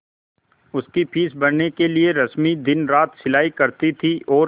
उसकी फीस भरने के लिए रश्मि दिनरात सिलाई करती थी और